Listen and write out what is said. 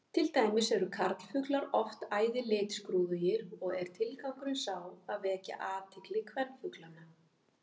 Til dæmis eru karlfuglar oft æði litskrúðugir og er tilgangurinn sá að vekja athygli kvenfuglanna.